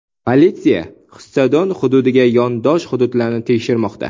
Politsiya stadion hududiga yondosh hududlarni tekshirmoqda.